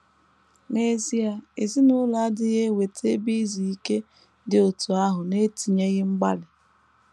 N’ezie, ezinụlọ adịghị eweta ebe izu ike dị otú ahụ n’etinyeghị mgbalị.